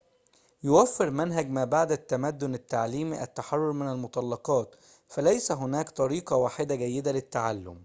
يوفر منهج ما بعد التمدن التعليمي التحرر من المطلقات فليس هناك طريقة واحدة جيدة للتعلم